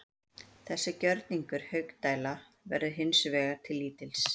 Þessi gjörningur Haukdæla verður hins vegar til lítils.